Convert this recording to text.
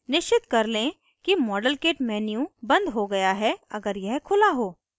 निश्चित कर लें कि modelkit menu बंद हो गया है अगर यह खुला हो